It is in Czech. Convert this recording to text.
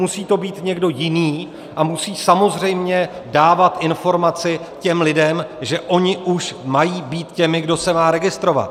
Musí to být někdo jiný a musí samozřejmě dávat informaci těm lidem, že oni už mají být těmi, kdo se má registrovat.